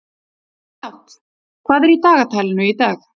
Njáll, hvað er í dagatalinu í dag?